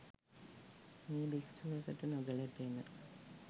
මෙය භික්‍ෂුවකට නොගැලපෙන